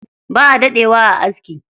Baʼa daɗe wa a aski.